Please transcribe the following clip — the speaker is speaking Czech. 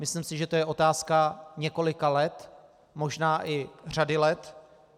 Myslím si, že to je otázka několika let, možná i řady let.